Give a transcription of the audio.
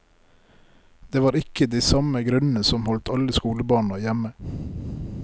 Det var ikke de samme grunnene som holdt alle skolebarna hjemme.